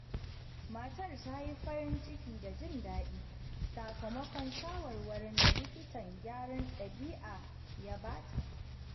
Matar ta yi farin ciki da jin daɗi sakamakon shawarwarin da likitan gyaran ɗabi'a ya ba ta.